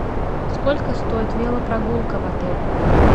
сколько стоит велопрогулка в отеле